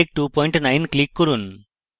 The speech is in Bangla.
miktex29 click করুন